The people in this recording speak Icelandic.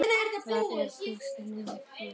Þar er plastið nefnt hólkur.